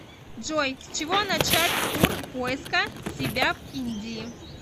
джой с чего начать тур поиска себя в индии